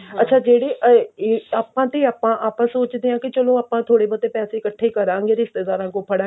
ਅੱਛਾ ਜਿਹੜੇ ਆਹ ਆਪਾਂ ਤੇ ਆਪਾਂ ਆਪਾਂ ਸੋਚਦੇ ਆਂ ਕਿ ਚਲੋ ਆਪਾਂ ਥੋੜੇ ਬਹੁਤੇ ਪੈਸੇ ਕੱਠੇ ਕਰਾਂਗੇ ਰਿਸ਼ਤੇਦਾਰਾਂ ਕੋਲੋਂ ਫੜਾਂਗੇ